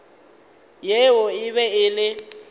yeo e be e le